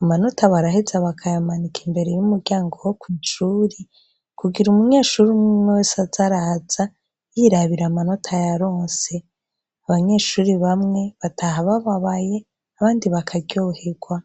amanota baraheza bakayamanika imbere y' umuryango wo kwishuri kugira umunyeshure umwe umwe wese aze araza yirabira amanota yaronse abanyeshure bamwe bataha babaye abandi bakaryohegwa.